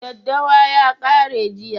Daddawa ya kare jiya